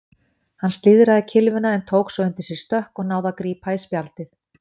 Hann slíðraði kylfuna en tók svo undir sig stökk og náði að grípa í spjaldið.